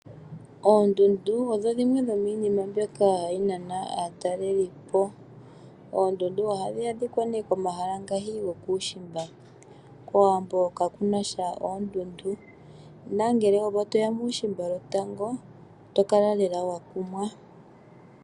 Oondundu odho dhimwe dhomiinima mbyoka hayi nana aatalelipo. Oondundu ohadhi adhika nee komahala ngaashi gokuushimba, kOwambo kakuna sha oondundu, nangele opo toya muushimba lotango oto kala lela wa kumwa.